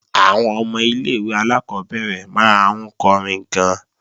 Àwọn ọmọ ilé-ìwé alákọ́bẹ̀rẹ̀ máa ń kọrin gan-an